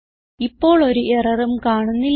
ഇപ്പോൾ ഒരു എററും കാണുന്നില്ല